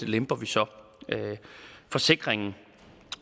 lemper vi så forsikringen